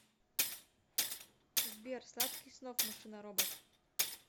сбер сладких снов машина робот